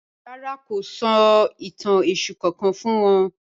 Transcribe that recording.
Rárá, kò sọ̀ itàn Èṣù kankan fún wọn